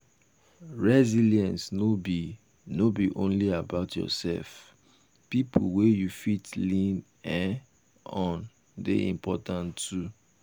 resilence no be no be only about yourself pipo wey you fit lean um on de important too